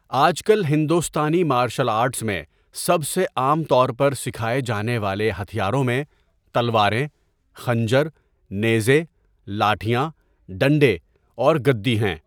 آج کل ہندوستانی مارشل آرٹس میں سب سے عام طور پر سکھائے جانے والے ہتھیاروں میں تلواریں، خنجر، نیزے، لاٹھیاں، ڈنڈے اور گدی ہیں۔